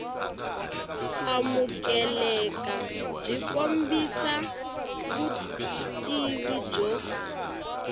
amukeleka byi kombisa vutivi byo